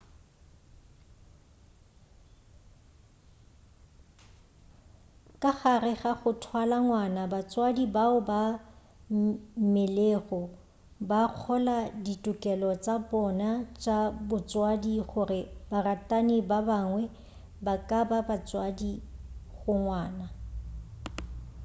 ka gare ga go thwala ngwana batswadi bao ba mmelegego ba kgola ditokelo tša bona tša botswadi gore baratani ba bangwe ba ka ba batswadi go ngwana